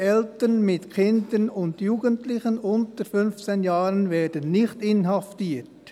«Eltern mit Kindern und Jugendlichen unter 15 Jahren werden nicht inhaftiert.